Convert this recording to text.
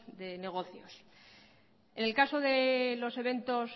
de negocios en el caso de los eventos